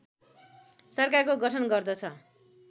सरकारको गठन गर्दछ